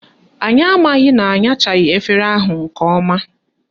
Anyị amaghị na anyachaghị efere ahụ nke ọma